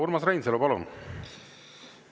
Urmas Reinsalu, palun!